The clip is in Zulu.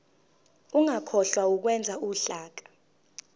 ungakhohlwa ukwenza uhlaka